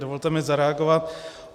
Dovolte mi zareagovat.